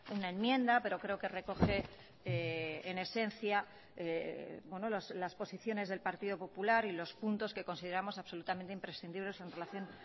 una enmienda pero creo que recoge en esencia las posiciones del partido popular y los puntos que consideramos absolutamente imprescindibles en relación